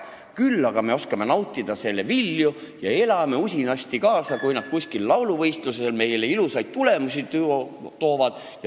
Küll aga oskame nautida selle vilju ja elame usinasti kaasa, kui nad kuskilt lauluvõistluselt meile ilusaid tulemusi toovad.